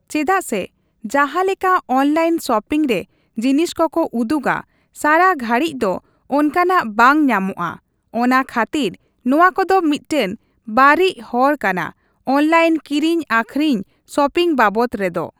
ᱪᱮᱫᱟᱜ ᱥᱮ ᱡᱟᱦᱟᱸ ᱞᱮᱠᱟ ᱚᱱᱞᱟᱭᱤᱱ ᱥᱚᱯᱤᱝ ᱨᱮ ᱡᱤᱱᱤᱥ ᱠᱚᱠᱚ ᱩᱫᱩᱜᱟ, ᱥᱟᱨᱟ ᱜᱷᱟᱹᱲᱤᱡ ᱫᱚ ᱚᱱᱠᱟᱱᱟᱜ ᱵᱟᱝ ᱧᱟᱢᱚᱜᱼᱟ ᱾ ᱚᱱᱟ ᱠᱷᱟᱹᱛᱤᱨ ᱱᱚᱣᱟ ᱠᱚᱫᱚ ᱢᱤᱫᱴᱟᱝ ᱵᱟᱹᱲᱤᱡ ᱦᱚᱨ ᱠᱟᱱᱟ ᱚᱱᱞᱟᱭᱤᱱ ᱠᱤᱨᱤᱧᱼᱟᱹᱠᱷᱨᱤᱧ ᱥᱚᱯᱤᱝ ᱵᱟᱵᱚᱛ ᱨᱮᱫᱚ ᱾